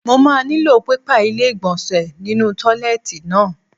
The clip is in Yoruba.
Mo máa nílò pépà ilé ìgbọ̀nsẹ̀ nínú tọ́ílẹ́ẹ̀tì náà.